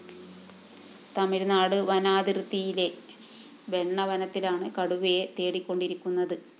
തമിഴ്‌നാട് വനാതിര്‍ത്തിയിലെ ബെണ്ണ വനത്തിലാണ് കടുവയെ തേടികൊണ്ടിരിക്കുന്നത്